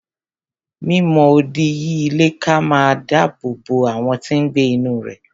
Mi mọ odi yí ilé ká máa dáàbò bo àwọn tí n gbé inú rẹ̀